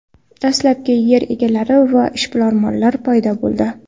Dastlabki yer egalari va ishbilarmonlar paydo bo‘ldi.